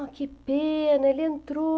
Ah, que pena, ele entrou.